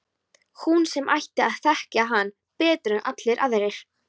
Hún sem ætti að þekkja hann betur en allir aðrir.